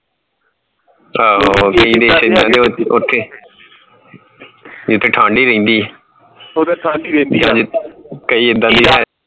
ਆਹੋ ਓਥੇ ਜਿਥੇ ਠੰਡ ਹੀ ਰਹਿਣਦੀ ਹੈ ਕਯੀ ਏਦਾਂਦੀ ਹੈ